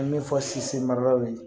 An bɛ min fɔ maralaw ye